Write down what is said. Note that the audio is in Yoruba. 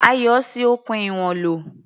Ayọ̀ ṣi okùn ìwọ̀n lò.